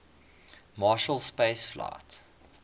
marshall space flight